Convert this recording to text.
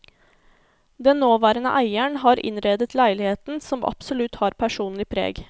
Den nåværende eieren har innredet leiligheten, som absolutt har personlig preg.